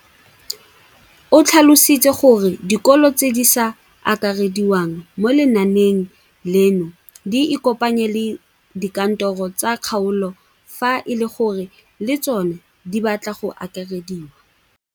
O tlhalositse gore dikolo tse di sa akarediwang mo lenaaneng leno di ikopanye le dikantoro tsa kgaolo fa e le gore le tsona di batla go akarediwa.